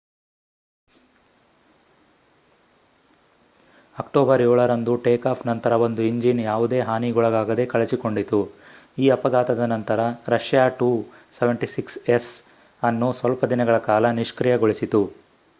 October 7ರಂದು takeoff ನಂತರ ಒಂದು ಇಂಜಿನ್ ಯಾವುದೇ ಹಾನಿಗೊಳಗಾಗದೇ ಕಳಚಿಕೊಂಡಿತು ಈ ಅಫಘಾತದ ನಂತರ ರಷ್ಯಾ ii-76s ಅನ್ನು ಸ್ವಲ್ಪ ದಿನಗಳ ಕಾಲ ನಿಷ್ಕ್ರಿಯಗೊಳಿಸಿತು